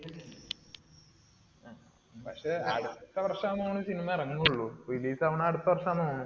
പക്ഷെ അടുത്ത വർഷമാന്ന് തോന്നുന്നു ഈ cinema ഇറങ്ങുന്നുളൂ. release ആവുന്നത് അടുത്ത വർഷമാന്നു തോന്നുന്നു.